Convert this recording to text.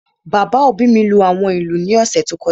Bàbá òbí mi lú àwọn ìlú ní ọ̀sẹ̀ tó kọjá